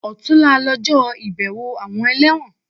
Ọ̀túnla lọjọ́ ìbẹ̀wọ̀ àwọn ẹlẹ́wọ̀n